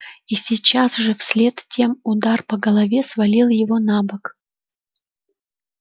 и сейчас же вслед тем удар по голове свалил его на бок